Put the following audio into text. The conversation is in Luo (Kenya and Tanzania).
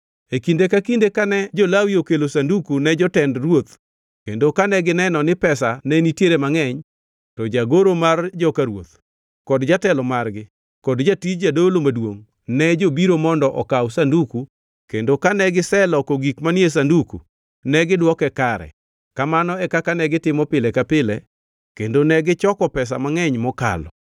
E kinde ka kinde kane jo-Lawi okelo sanduku ne jotend ruoth kendo kane gineno ni pesa ne nitiere mangʼeny, to jagoro mar joka ruoth kod jatelo margi kod jatij jadolo maduongʼ ne jobiro mondo okaw sanduku kendo kane giseloko gik manie sanduku negidwoke kare. Kamano e kaka negitimo pile ka pile kendo negichoko pesa mangʼeny mokalo.